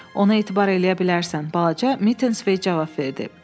Ona etibar eləyə bilərsən, balaca Mitins cavab verdi.